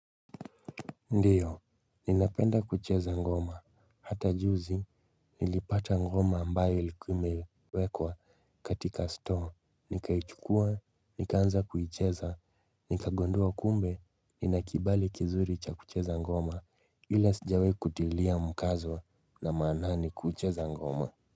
Ndio, ninapenda kucheza ngoma. Hata juzi, nilipata ngoma ambaye ilikuwa imewekwa katika store. Nikaichukua, nikaanza kuicheza, nikagondua kumbe, nina kibali kizuri cha kucheza ngoma. Ila sijawahi kutilia mukazo na maanani kucheza ngoma.